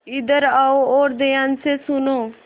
इधर आओ और ध्यान से सुनो